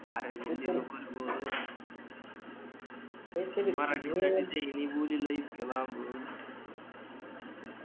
R Hindi नको रे बोलू मराठीत त्याची ते हिन्दी बोलील इतक्या लांबून.